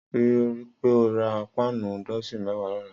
Rìpé ó rà páànù dọsin mẹ̀wá lọ̀lá